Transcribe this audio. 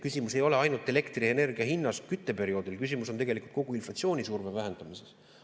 Küsimus ei ole ainult elektrienergia hinnas kütteperioodil, küsimus on tegelikult kogu inflatsioonisurve vähendamises.